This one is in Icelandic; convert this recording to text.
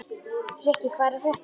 Frikki, hvað er að frétta?